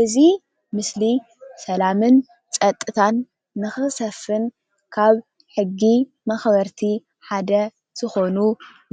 እዚ ምስሊ ሰላምን ጸጥታን ንኽሰፍን ካብ ሕጊ ማኽበርቲ ሓደ ዝኾኑ